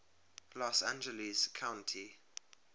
los angeles county